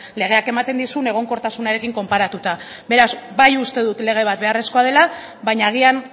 legeak ematen dizun egonkortasunarekin konparatuta beraz bai uste dut lege bat beharrezkoa dela baina agian